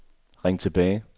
ring tilbage